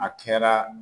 A kɛra